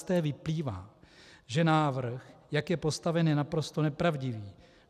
Z té vyplývá, že návrh, jak je postaven, je naprosto nepravdivý.